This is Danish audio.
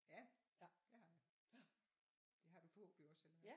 Ja det har jeg. Det har du forhåbentlig også eller hvad